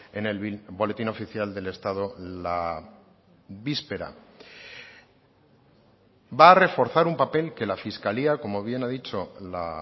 en el boletín oficial del estado la víspera va a reforzar un papel que la fiscalía como bien ha dicho la